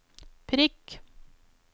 prikk